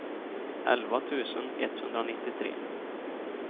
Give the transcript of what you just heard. elva tusen etthundranittiotre